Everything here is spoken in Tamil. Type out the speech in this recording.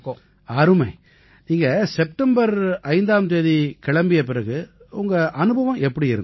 அருமை நீங்க செப்டெம்பர் 5ஆம் தேதி கிளம்பிய பிறகு உங்க அனுபவம் எப்படி இருந்திச்சு